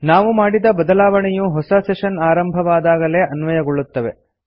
ನಾವು ಮಾಡಿದ ಬದಲಾವಣೆಯು ಹೊಸ ಸೆಶನ್ ಆರಂಭವಾದಾಗಲೇ ಅನ್ವಯಗೊಳ್ಳುತ್ತವೆ